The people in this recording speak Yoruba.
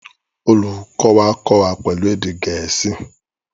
Olùkọ́ wa kọ́ wa pẹ̀lú èdè Gẹ̀ẹ́sì